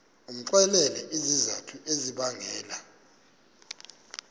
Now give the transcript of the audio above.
umxelele izizathu ezibangela